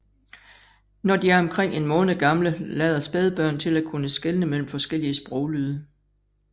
Når de er omkring en måned gamle lader spædbørn til at kunne skelne mellem forskellige sproglyde